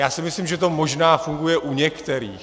Já si myslím, že to možná funguje u některých.